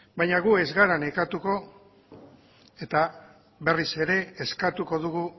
baina gu ez gara nekatuko eta berriz ere eskatuko dugu